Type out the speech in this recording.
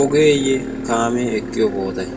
ogeeyye kaamee eqqiyo bootay?